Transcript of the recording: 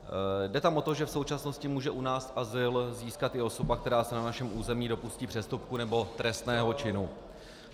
Jde tam o to, že v současnosti může u nás azyl získat i osoba, která se na našem území dopustí přestupku nebo trestného činu.